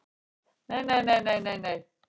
Nei nei nei nei.